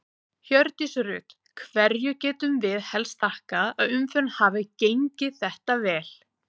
Hjördís Rut: Hverju getum við helst þakkað að umferðin hafi gengið þetta vel?